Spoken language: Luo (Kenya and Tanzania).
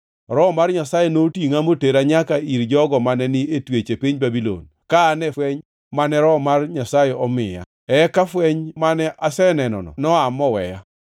Roho mar Nyasaye notingʼa motera nyaka ir jogo mane ni e twech e piny Babulon, ka an e fweny mane Roho mar Nyasaye omiya. Eka fweny mane asenenono noa moweya,